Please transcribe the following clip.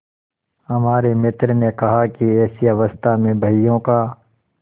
हमारे मित्र ने कहा कि ऐसी अवस्था में बहियों का